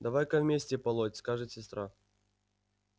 давай-ка вместе полоть скажет сестра